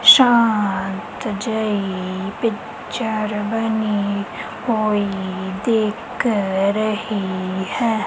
ਸ਼ਾਂਤ ਜਹੀ ਪਿਕਚਰ ਬਣੀ ਹੋਈਂ ਦਿੱਖ ਰਹੀ ਹੈ।